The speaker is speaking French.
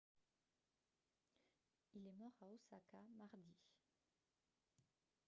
il est mort à osaka mardi